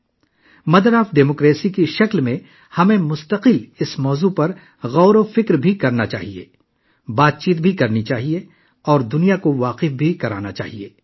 جمہوریت کی ماں ہونے کے ناطے ہمیں اس موضوع پر مسلسل گہرائی سے سوچنا چاہیے، اس پر بحث کرنی چاہیے اور دنیا کو بھی مطلع کرنا چاہیے